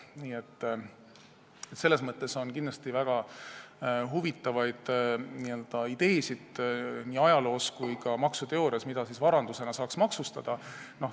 Nii et maksuteoorias on ajaloo jooksul olnud ja ka on väga huvitavaid ideesid selle kohta, mida saaks varandusena maksustada.